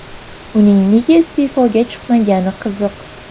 Uning nega iste’foga chiqmagani qiziq.